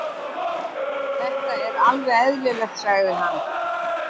Þetta er alveg eðlilegt, sagði hann.